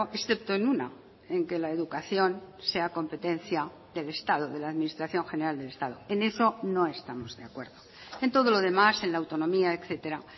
excepto en una en que la educación sea competencia del estado de la administración general del estado en eso no estamos de acuerdo en todo lo demás en la autonomía etcétera